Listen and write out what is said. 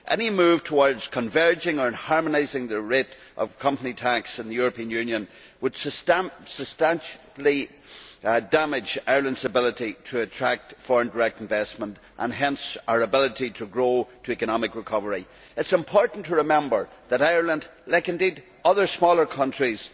Any move towards converging or harmonising the rate of company tax in the European Union would substantially damage Ireland's ability to attract foreign direct investment and hence, our ability to grow to economic recovery. It is important to remember that Ireland, like indeed other smaller countries,